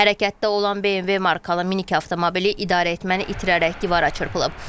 Hərəkətdə olan BMW markalı minik avtomobili idarəetməni itirərək divara çırpılıb.